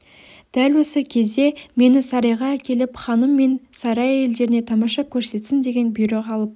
дәл осы кез де мені сарайға әкеліп ханым мен сарай әйелдеріне тамаша көрсетсін деген бұйрық алып